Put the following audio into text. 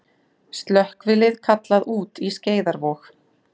Slökkvilið kallað út í Skeiðarvog